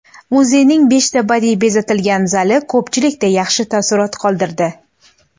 Muzeyning beshta badiiy bezatilgan zali ko‘pchilikda yaxshi taassurot qoldirdi.